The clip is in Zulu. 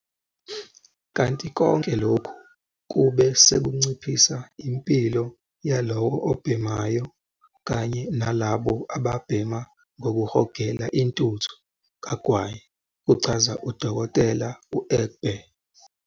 Kanti konke lokhu kube sekunciphisa impilo yalowo obhemayo kanye nalabo ababhema ngokuhogela intuthu kagwayi, kuchaza u-Dkt. u-Egbe.